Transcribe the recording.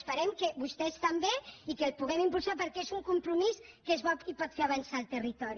esperem que vostès també i que el puguem impulsar perquè és un compromís que és bo i pot fer avançar el territori